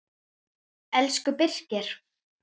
Elsku Birkir.